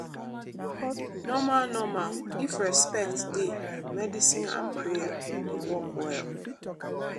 normal normal if respect dey medicine and prayer dey work well.